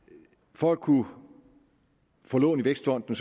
for at kunne få lån i vækstfonden